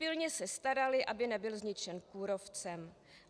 Pilně se staraly, aby nebyl zničen kůrovcem.